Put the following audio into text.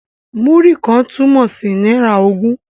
Múrí kan' túmọ̀ sí náírà ogún.